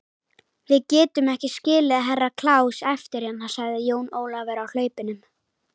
Við getum ekki skilið Herra Kláus eftir hérna, sagði Jón Ólafur á hlaupunum.